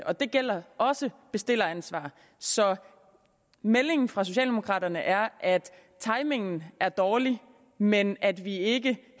og det gælder også bestilleransvar så meldingen fra socialdemokraterne er at timingen er dårlig men at vi ikke